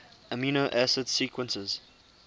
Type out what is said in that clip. amino acid sequences